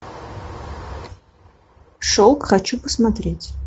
шелк хочу посмотреть